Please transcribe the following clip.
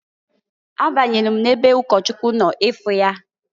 A banyelu m n'ebe ụkọchụkwụ nọ ịfụ ya.